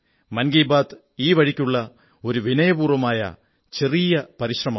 മൻ കീബാത് ഈ വഴിക്കുള്ള ഒരു വിനയപൂർവ്വമുള്ള ചെറിയ പരിശ്രമമാണ്